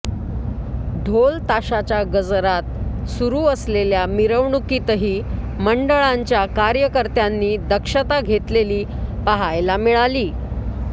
ढोल ताशाच्या गजरात सुरू असलेल्या मिरवणुकीतही मंडळांच्या कार्यकर्त्यांनी दक्षता घेतलेली पाहायला मिळाली